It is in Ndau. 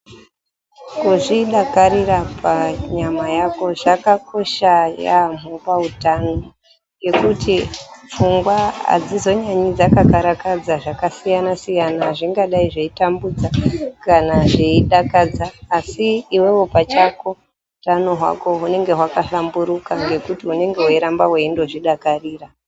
Kuzvidakarira panyama yako zvakakosha yaamho pahutano, ngekuti pfungwa hadzizonyanyi dzakakarakadza zvakasiyana-siyana, zvingadai zveitambudza, kana zveidakadza asi iwewe pachako hutano hwako hunoramba hwakahlamburika nekuti unenge weiramba weindozvidakarira.